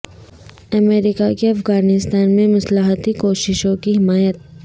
امریکہ کی افغانستان میں مصالحتی کوششوں کی حمایت